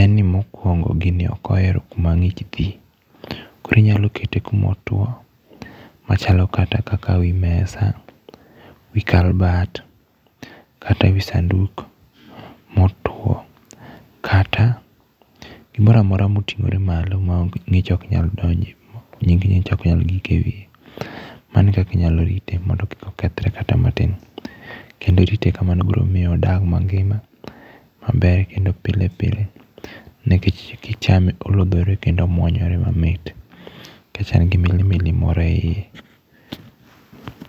en ni mokwongo, gini ok ohero kuma ngích thi. Koro inyalo kete kuma otwo, machalo kata kaka wi mesa, wi kabat, kata wi sanduku motwo. Kata gimoro amora motingóre malo ma ngích ok nyal donje. ngích ok nyal gik e wiye. Mano e kaka inyalo rite mondo kik okethore kata matin. Kendo rite kamano biro miyo odag mangima, maber kendo pile pile. Nikech kichame olodhore kendo omwonyore mamit. Nikech en gi milimili moro e iye.